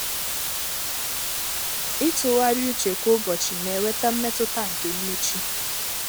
itughari ụche kwa ụbochi n'eweta mmetụta nke mmechi.